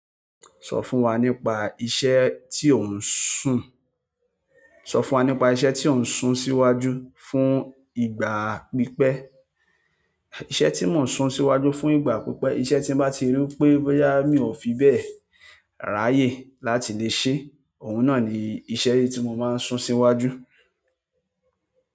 Sọ fún wa nípa iṣẹ́ tí ò ń sun, sọ fún wa nípa iṣẹ́ tí ò ń sun síwájú fún ìgbà pípẹ́. Iṣẹ́ tí mo ń sun síwájú fún ìgbà pípẹ́, iṣẹ́ tí mo bá ti rí pé, bírá mi ò fi bẹ́ẹ̀ ráyè láti lè ṣe, òun náà ni iṣẹ́ tí mo máa ń sun síwájú.